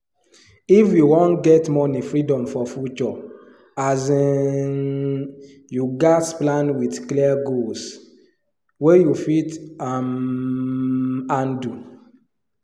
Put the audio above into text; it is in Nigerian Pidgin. if you wan get money freedom for future um you gats plan with clear goals wey you fit um handle